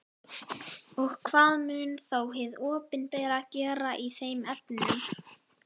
Og hvað mun þá hið opinbera gera í þeim efnum?